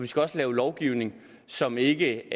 skal lave lovgivning som ikke